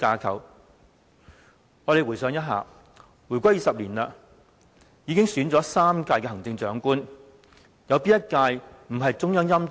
大家回想一下，回歸20年，已選出3屆行政長官，哪一屆不是中央欽點？